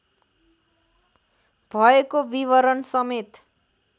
भएको विवरण समेत